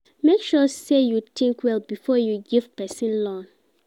Make sure sey you tink well before you give pesin loan.